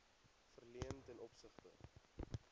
verleen ten opsigte